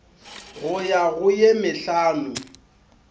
go ya go ye mehlano